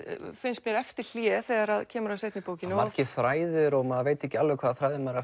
finnst mér eftir hlé þegar kemur að seinni bókinni margir þræðir og maður veit ekki alveg hvaða þræði maður